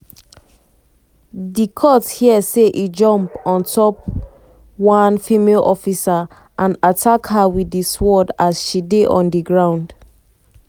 di court hear say e jump on top on top one female officer and attack her wit di sword as she dey on di ground.